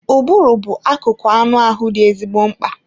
Ụbụrụ bụ akụkụ anụ ahụ dị ezigbo mkpa.